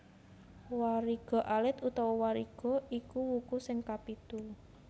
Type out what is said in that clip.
Wariga alit utawa Wariga iku wuku sing kapitu